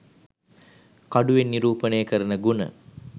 කඩුවෙන් නිරූපනය කරන ගුණ